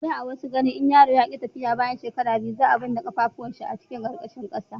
a da a wasu garin in yaro ya ki tafiya bayan shekara biyu za a binne kafafuwan shi cikin ƙasa